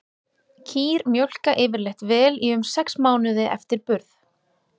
Kýr mjólka yfirleitt vel í um sex mánuði eftir burð.